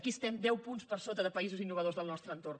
aquí estem deu punts per sota de països innovadors del nostre entorn